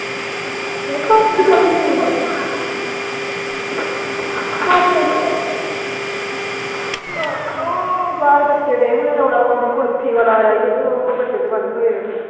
ਉਹ ਅਹ ਉਹ ਬਾਹਰ ਬੱਚੇ ਗਏ ਹੋਣੇ ਕੁਲਫੀ ਵਾਲਾ ਆਇਆ ਸੀ ਤੇ ਬੱਚੇ ਦੁਆਲੇ ਹੋਏ ਉਹਦੇ।